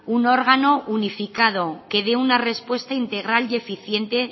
un órgano unificado que de una respuesta integral y eficiente